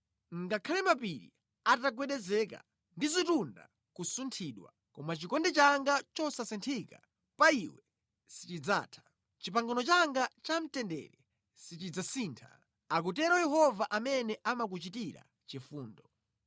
Ngakhale mapiri atagwedezeka ndi zitunda kusunthidwa, koma chikondi changa chosasinthika pa iwe sichidzatha. Pangano langa lamtendere silidzasintha,” akutero Yehova amene amakuchitira chifundo.